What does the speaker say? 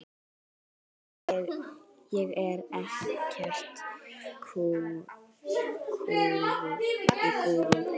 ég er ekta gúrú.